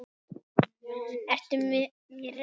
Ertu mér reiður?